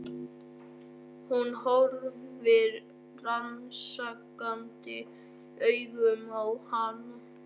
Hún horfir rannsakandi augum á hana.